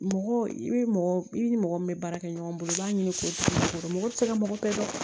Mɔgɔ i bi mɔgɔ i ni mɔgɔ min be baara kɛ ɲɔgɔn bolo i b'a ɲini k'o caman sɔrɔ mɔgɔ te se ka mɔgɔ kɛ dɛ